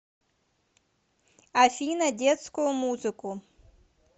афина детскую музыку